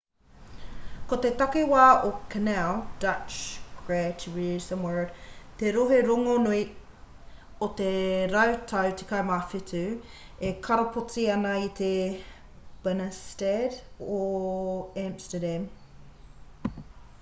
ko te takiwā o canal dutch: gratchtengordel te rohe rongonui o te rautau 17 e karapoti ana i te binnenstad or amsterdam